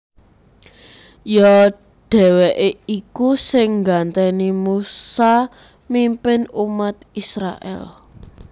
Ya dhèwèké iku sing nggantèni Musa mimpin umat Israèl